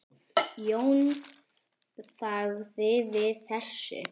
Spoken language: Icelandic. Jón þagði við þessu.